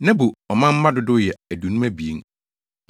Nebo ɔmanmma dodow yɛ 2 52 1